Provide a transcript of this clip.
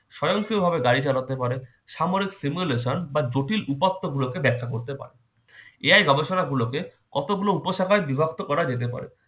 স্বয়ংক্রিয়ভাবে গাড়ি চালাতে পারে, সামরিক simulation বা জটিল উপাত্ত গুলোকে ব্যাখ্যা করতে পারে। AI গবেষণাগুলোকে কতগুলো উপশাখায় বিভক্ত করা যেতে পারে।